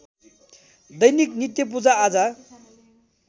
दैनिक नित्य पूजाआजा